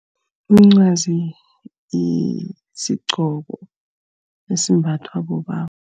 Umncwazi sigqoko esimbathwa bobaba.